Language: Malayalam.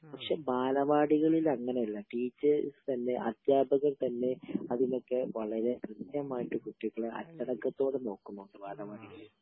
പക്ഷെ..ബാലവാടികളിൽ അങ്ങനെയല്ല. ടീച്ചേർസ് തന്നെ അധ്യാപകർ തന്നെ അതിനൊക്കെ വളരെ കൃത്യമായിട്ട് കുട്ടികളെ അച്ചടക്കത്തോടെ നോക്കും ബാലവാടിയില്